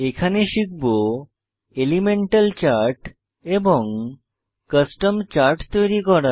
এখানে শিখব elemental chart এবং কাস্টম চার্ট তৈরি করা